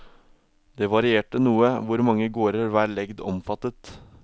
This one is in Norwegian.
Det varierte noe hvor mange gårder hver legd omfattet.